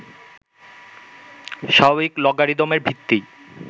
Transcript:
স্বাভাবিক লগারিদমের ভিত্তি